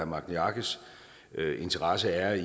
magni arges interesse er